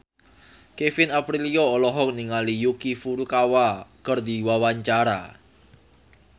Kevin Aprilio olohok ningali Yuki Furukawa keur diwawancara